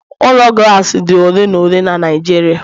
Ụlọ Glassi dị ole na ole na Nijiria